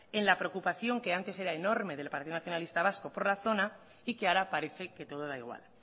en la preocupación que antes era enorme del partido nacionalista vasco por la zona y que ahora parece que todo da igual